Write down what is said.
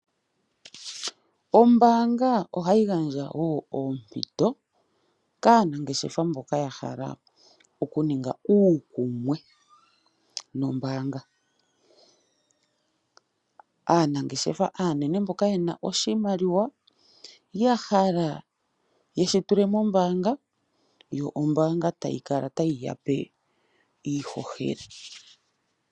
Ombanga oha yi gandja wo oompito kaanangeshefa mboka ya hala oku ninga ukuumwe nombanga. Aanangeshefa anene mboka yena oshimaliwa ya hala yeshi tule mombanga yo ombanga tayi kala tayi yape iihohela.